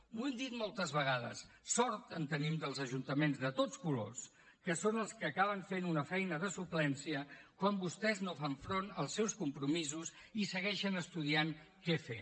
ho hem dit moltes vegades sort en tenim dels ajuntaments de tots colors que són els que acaben fent una feina de suplència quan vostès no fan front als seus compromisos i segueixen estudiant què fer